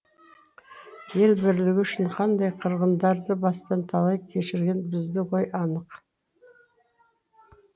ел бірлігі үшін қандай қырғындарды бастан талай кешірген біздің ғой халық